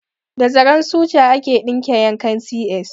Da zaren suca ake ɗinke yankan CS